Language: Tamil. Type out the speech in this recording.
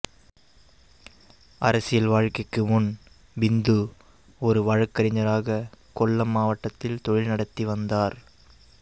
அரசியல் வாழ்க்கைக்கு முன் பிந்து ஒரு வழக்கறிஞ்சராக கொல்லம் மாவட்டத்தில் தொழில் நடத்தி வந்தார்